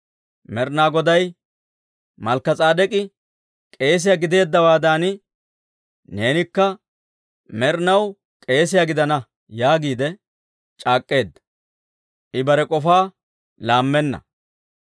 Med'inaa Goday, «Malkka S'edek'i k'eesiyaa gideeddawaadan, neenikka med'inaw k'eesiyaa gidana» yaagiide c'aak'k'eedda; I bare k'ofaa laammenna.